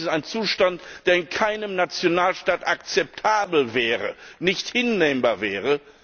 Dies ist ein Zustand, der in keinem Nationalstaat akzeptabel wäre, der nicht hinnehmbar wäre.